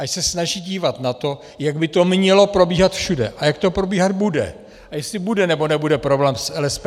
Ať se snaží dívat na to, jak by to mělo probíhat všude a jak to probíhat bude a jestli bude nebo nebude problém s LSPP.